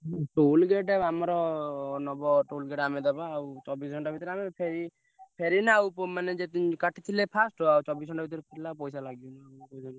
ହୁଁ toll gate ଆମର ନବ toll gate ଆମେ ଦବା ଆଉ ଚବିଶି ଘଣ୍ଟା ଭିତରେ ଆମେ ଫେରି ଫେରିନା ଆଉ ପୁ~ ମାନେ ଯେତେ ଦିନି କାଟିଥିଲେ first ର ଆଉ ଚବିଶି ଘଣ୍ଟା ଭିତରେ ଫେରିଲେ ଆଉ ପଇସା ଲାଗିବନି ।